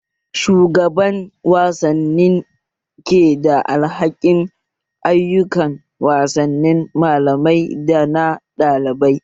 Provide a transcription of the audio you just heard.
Shugaban wasanni ke da alhakin ayukan wasanni malamai dana ɗalibai